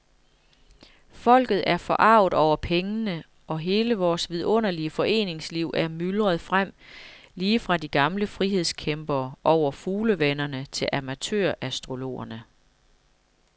Folket er forarget over pengene, og hele vores vidunderlige foreningsliv er myldret frem, lige fra de gamle frihedskæmpere over fuglevennerne til amatørastrologerne.